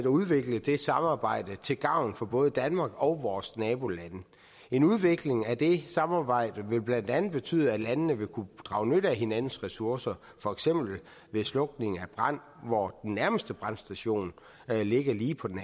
og udvikle det samarbejde til gavn for både danmark og vores nabolande en udvikling af det samarbejde vil blandt andet betyde at landene vil kunne drage nytte af hinandens ressourcer for eksempel ved slukning af en brand hvor den nærmeste brandstation ligger lige på den